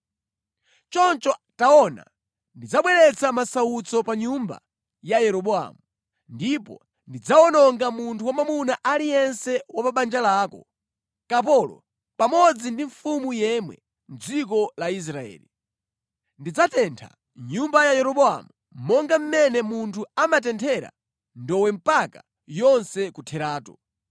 “ ‘Choncho taona, ndidzabweretsa masautso pa nyumba ya Yeroboamu. Ndipo ndidzawononga munthu wamwamuna aliyense wa pa banja lako, kapolo pamodzi ndi mfulu yemwe mʼdziko la Israeli. Ndidzatentha nyumba ya Yeroboamu monga mmene munthu amatenthera ndowe mpaka yonse kutheratu.